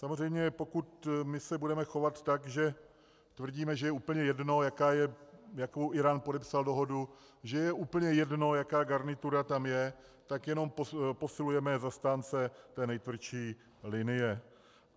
Samozřejmě pokud my se budeme chovat tak, že tvrdíme, že je úplně jedno, jakou Írán podepsal dohodu, že je úplně jedno, jaká garnitura tam je, tak jenom posilujeme zastánce té nejtvrdší linie.